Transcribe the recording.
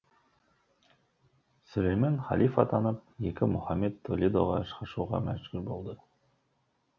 сүлеймен халиф атанып екі мұхаммед толедоға қашуға мәдүр болады